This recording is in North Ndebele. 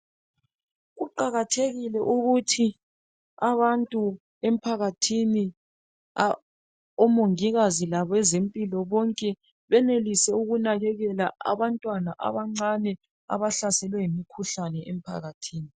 Kuqakathekile ukuthi abantu emphakathini omongilazi labazempilo bonke banelise benelise ukunakekela abantwana abancane abahlaselwe ngu mkhuhlane emphakathini